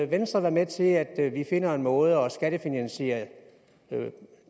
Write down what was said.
venstre være med til at vi finder en måde at skattefinansiere